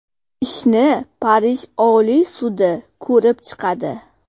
Ishni Parij Oliy sudi ko‘rib chiqadi.